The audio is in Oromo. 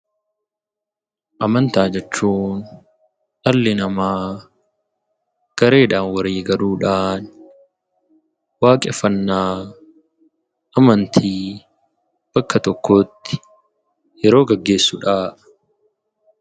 Amantaa jechuun dhalli namaa gareedhaan walii galuudhaan waaqeffannaa amantii bakka tokkotti yeroo geggeessu dha.